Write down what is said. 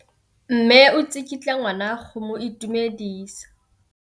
Mme o tsikitla ngwana go mo itumedisa.